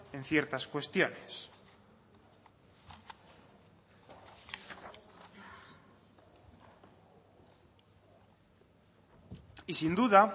en ciertas cuestiones y sin duda